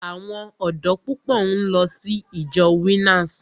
Àwọn ọ̀dọ́ púpọ̀ ń lọ sí ìjọ Winners.